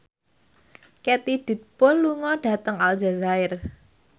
Katie Dippold lunga dhateng Aljazair